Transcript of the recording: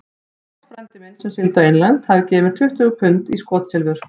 Páll frændi minn, sem sigldi á England, hafði gefið mér tuttugu pund í skotsilfur.